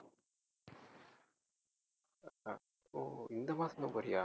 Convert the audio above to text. ஓ இந்த மாசம்தான் போறியா